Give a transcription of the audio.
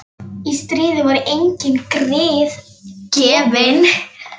Í stríði voru engin grið gefin.